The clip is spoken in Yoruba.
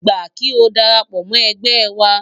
Gbà kí o dara pọ̀ mọ́ ẹgbẹ́ wa!